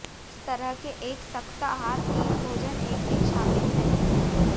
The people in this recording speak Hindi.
इस तरह के एक सख्त आहार तीन भोजन एक दिन शामिल है